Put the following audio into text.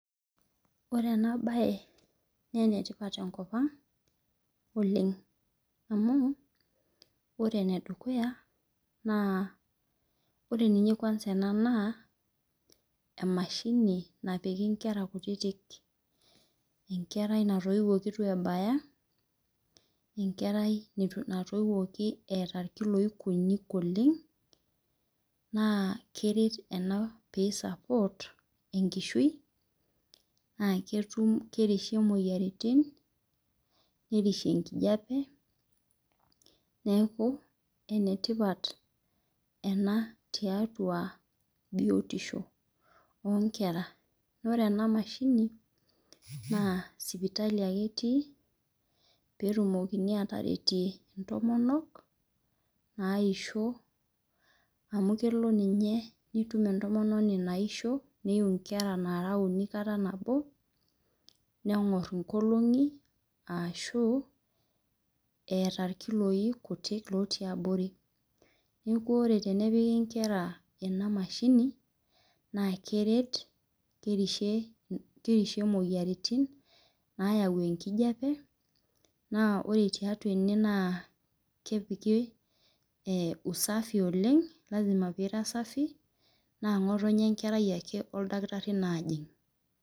Ore enabae na enetipat tenkop aang oleng amu ore enedukuya na ore kwanza ena na emashini napiki nkera kutitik enkerai natoiwoki itu ebaya, enkerai natoiwuoki eeta nkiloi kutik oleng na keret ena enkishui aa ketumbna kerishie imoyiaritin nerishie enkijape neaku enetipat ena tiatua biotisho onkera ore enamashini na sipitali ake etii petumoki atererie ntomonok naisho amu kelo ninye nitum entomononi naisho neiu nkera uni kata nabo nengor nkolongi ashu eeta nkoloi kutik natii abori neaku ore pepiki nkera enamashini na keret kerishie imoyiaritin nayau enkijape na ore tiatua ene na kepiki isafi oleng na ngotonye enkera ake wenkerai najing.